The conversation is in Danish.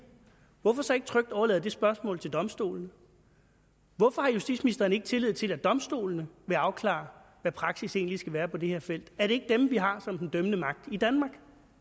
hvorfor man så ikke trygt overlader det spørgsmål til domstolene hvorfor har justitsministeren ikke tillid til at domstolene vil afklare hvad praksis egentlig skal være på det her felt er det ikke dem vi har som den dømmende magt i danmark